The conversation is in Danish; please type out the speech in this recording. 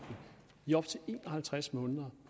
og halvtreds måneder